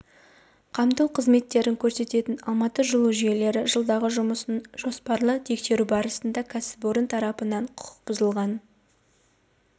қамту қызметтерін көрсететін алматы жылу жүйелері жылдардағы жұмысын жоспарлы тексеру барысында кәсіпорын тарапынан құқық бұзылғаны